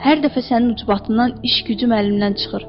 Hər dəfə sənin ucbatından iş gücüm əlimdən çıxır.